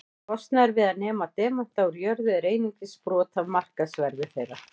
Kostnaður við að nema demanta úr jörðu er einungis brot af markaðsverði þeirra.